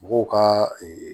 Mɔgɔw ka